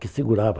que segurava.